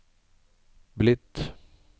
blitt